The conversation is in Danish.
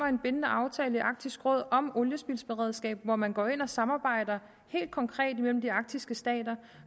en bindende aftale i arktisk råd om et oliespildsberedskab hvor man går ind og samarbejder helt konkret imellem de arktiske stater